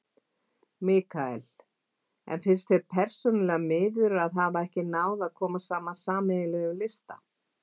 Mikael: En finnst þér persónulega miður að ekki hafi náð að koma saman sameiginlegum lista?